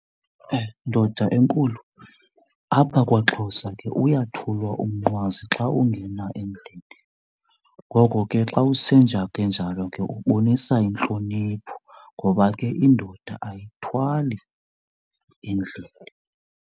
Ndoda enkulu apha kwaXhosa ke uyathulwa umnqwazi xa ungena endlini. Ngoko ke xa usenza kanjalo ke ubonisa intlonipho ngoba ke indoda ayithwali endlini.